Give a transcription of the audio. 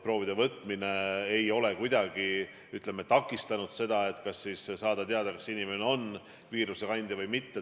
Proovide võtmise võimekus ei ole kuidagi takistanud seda, et saada teada, kas inimene on viirusekandja või mitte.